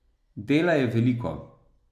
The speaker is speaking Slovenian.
Dela je veliko.